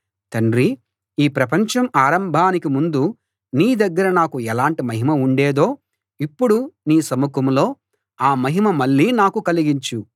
తండ్రీ ఈ ప్రపంచం ఆరంభానికి ముందు నీ దగ్గర నాకు ఎలాంటి మహిమ ఉండేదో ఇప్పుడు నీ సముఖంలో ఆ మహిమ మళ్లీ నాకు కలిగించు